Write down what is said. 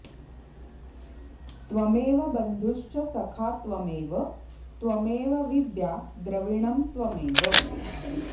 त्वमेव बन्धुश्च सखा त्वमेव त्वमेव विद्या द्रविणं त्वमेव